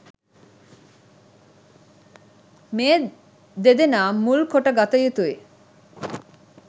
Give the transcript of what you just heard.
මේ දෙදෙනා මුල් කොට ගත යුතුයි.